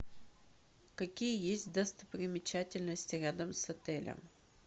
какие есть достопримечательности рядом с отелем